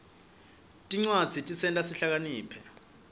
tincwadzi tisenta sihlakaniphe